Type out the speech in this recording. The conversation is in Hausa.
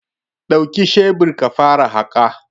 Duki shebir ka fara haƙa.